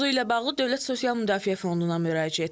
Mövzu ilə bağlı Dövlət Sosial Müdafiə Fonduna müraciət etdik.